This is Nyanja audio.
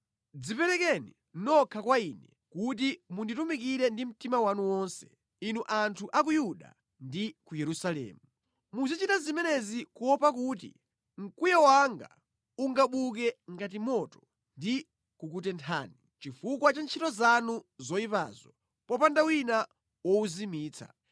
Dziperekeni nokha kwa Ine kuti munditumikire ndi mtima wanu wonse, inu anthu a ku Yuda ndi ku Yerusalemu. Muzichita zimenezi kuopa kuti mkwiyo wanga ungabuke ngati moto ndi kukutenthani, chifukwa cha ntchito zanu zoyipazo popanda wina wowuzimitsa.